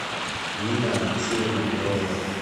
нина алексеевна перова